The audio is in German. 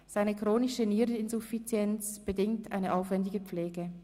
Seine chronische Niereninsuffizienz bedingt eine aufwendige Pflege.